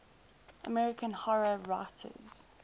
american horror writers